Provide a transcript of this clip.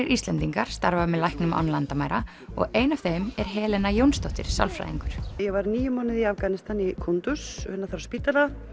Íslendingar starfa með læknum án landamæra og ein af þeim er Helena Jónsdóttir sálfræðingur ég var níu mánuði í Afganistan í Kundus á spítala